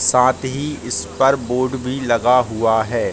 झूला लगा हुआ है ऊपर ट्यूबलाइट वगैरा जल रही है।